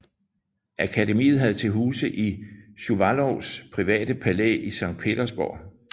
Akademiet havde til huse i Shuvalovs private palæ i Sankt Petersborg